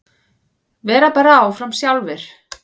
Vera bara áfram sjálfir.